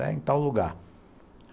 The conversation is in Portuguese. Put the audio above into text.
É em tal lugar.